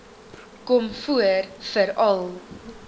kom voor veral